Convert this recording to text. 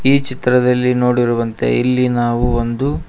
ಈ ಚಿತ್ರದಲ್ಲಿ ನೋಡಿರುವಂತೆ ಇಲ್ಲಿ ನಾವು ಒಂದು--